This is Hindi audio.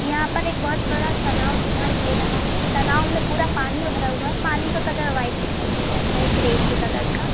यहाँ पर एक बहोत बड़ा तालाब दिखाई दे रहा है। तालाब में पूरा पानी भरा हुआ है। पानी का कलर वाइट दिखाई दे रहा है ग्रे से कलर का।